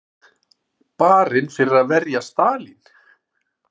Barinn fyrir að verja Stalín